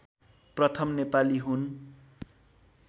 प्रथम नेपाली हुन्